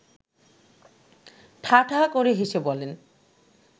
ঠা ঠা করে হেসে বলেন